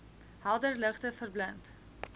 helder ligte verblind